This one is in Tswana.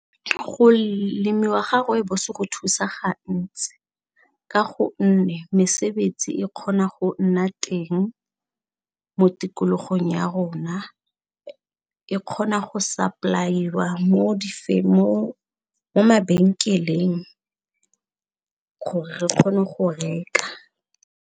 Go lemiwa ga rooibos go thusa ga ntsi ka gonne mesebetsi e kgona go nna teng mo tikologong ya rona na e kgona go supply-wa mo mabenkeleng gore re kgone go reka.